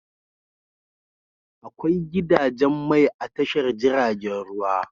Akwai gidajen mai a tashar jiragen ruwa.